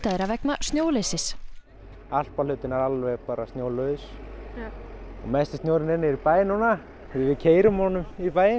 þeirra vegna snjóleysis alpahlutinn er alveg snjólaus mesti snjórinn er niðri í bæ núna því við keyrum honum í bæinn